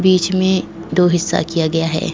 बीच में दो हिस्सा किया गया है।